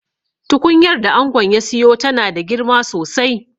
Tukunyar da angon ya siyo tana da girma sosai